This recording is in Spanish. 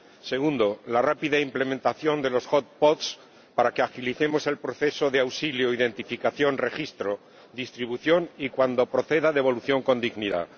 segundo, la rápida implementación de los para que agilicemos el proceso de auxilio, identificación, registro, distribución y, cuando proceda, devolución con dignidad